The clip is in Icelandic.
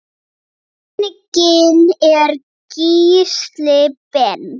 Genginn er Gísli Ben.